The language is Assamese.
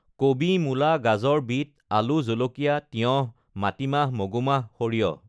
কবি, মূলা, গাজৰ, বিট, আলু, জলকীয়া, তিয়ঁহ, মাটিমাহ, মগুমাহ, সৰিয়হ